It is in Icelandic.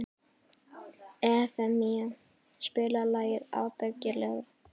Evfemía, spilaðu lagið „Ábyggilega“.